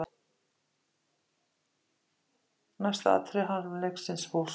Næsta atriði harmleiksins hófst.